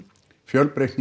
fjölbreytni